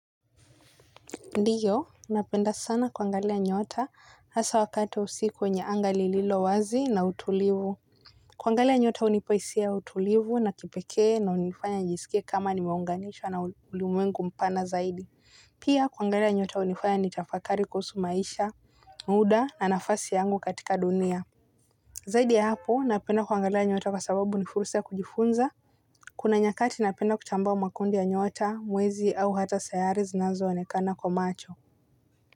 Ndiyo, napenda sana kuangalia nyota hasa wakati wa usiku kwenye anga lililo wazi na utulivu. Kuangalia nyota hunipa hisia utulivu na kipekee unaonifanya nijisikie kama nimeunganishwa na ulimwengu mpana zaidi. Pia kuangalia nyota hunifanya nitafakari kuhusu maisha muda na nafasi yangu katika dunia. Zaidi ya hapo, napenda kuangalia nyota kwa sababu ni fursa ya kujifunza. Kuna nyakati napenda kuchambua makundi ya nyota, mwezi au hata sayari zinazo onekana kwa macho.